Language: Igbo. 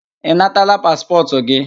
Ị nataala paspọtụ gị?